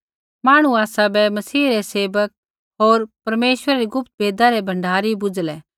मांहणु आसाबै मसीह रै सेवक होर परमेश्वरै री गुप्त भेदा रै भण्डारी बुझ़लै